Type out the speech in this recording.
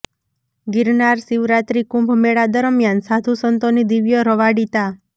ગિરનાર શિવરાત્રિ કુંભ મેળા દરમ્યાન સાધુ સંતોની દિવ્ય રવાડી તા